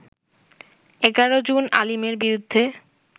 ১১ June আলীমের বিরুদ্ধে